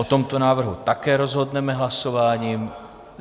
O tomto návrhu také rozhodneme hlasováním.